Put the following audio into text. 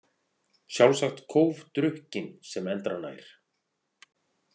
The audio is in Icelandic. Sjálfsagt kófdrukkinn sem endranær.